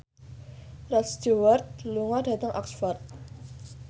Rod Stewart lunga dhateng Oxford